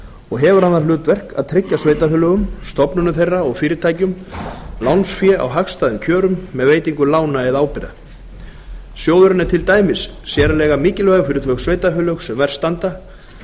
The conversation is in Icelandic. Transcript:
og hefur hann það hlutverk að tryggja sveitarfélögum stofnunum þeirra og fyrirtækjum lánsfé á hagstæðum kjörum með veitingu lána eða ábyrgða sjóðurinn er til dæmis sérlega mikilvægur fyrir þau sveitarfélög sem verst standa